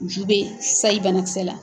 Ju be sayi banakisɛ la.